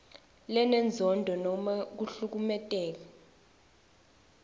lenenzondo nobe kuhlukumeta